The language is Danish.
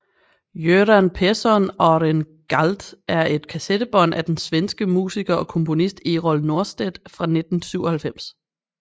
Göran Persson Är En Galt er et kassettebånd af den svenske musiker og komponist Errol Norstedt fra 1997